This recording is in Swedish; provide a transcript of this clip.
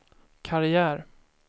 karriär